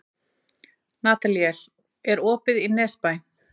Nataníel, er opið í Nesbæ?